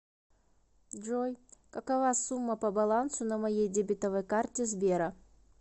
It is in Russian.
джой какова сумма по балансу на моей дебетовой карте сбера